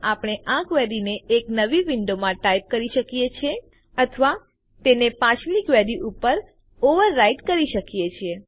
આપણે આ ક્વેરીને એક નવી વિન્ડોમાં ટાઈપ કરી શકીએ છીએ અથવા તેને પાછલી ક્વેરી ઉપર ઓવરરાઈટ કરી શકીએ છીએ